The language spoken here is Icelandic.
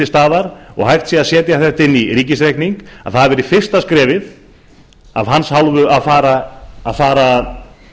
staðar og hægt sé að setja þetta inn í ríkisreikning hafi verið fyrsta skrefið við að fara